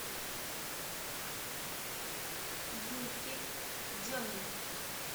юльке деминой